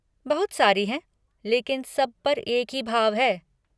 बहुत सारी हैं, लेकिन सब पर एक ही भाव है।